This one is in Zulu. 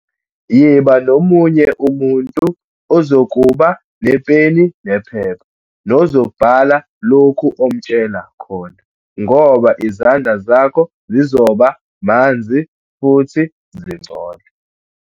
Yiba nomunye umuntu ozokuba nepeni nephepha nozobhala lokhu omtshela khona, ngoba izandla zakho zizoba manzi futhi zingcole.